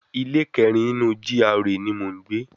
Ilé kẹrin nínú GRA ni mò ń gbé